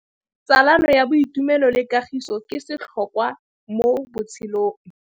Tsalano ya boitumelo le kagiso ke setlhôkwa mo botshelong.